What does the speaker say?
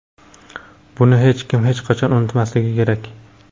Buni hech kim hech qachon unutmasligi kerak.